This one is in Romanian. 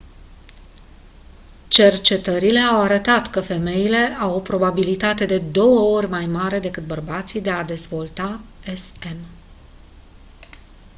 cercetările au arătat că femeile au o probabilitate de două ori mai mare decât bărbații de a dezvolta sm